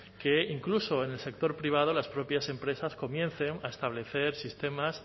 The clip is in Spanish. que incluso en el sector privado las propias empresas comiencen a establecer sistemas